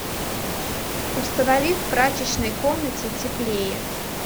установи в прачечной комнате теплее